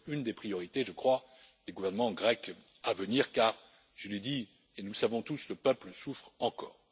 Ce doit être une des priorités, je crois, des gouvernements grecs à venir, car je l'ai dit, et nous le savons tous le peuple souffre encore.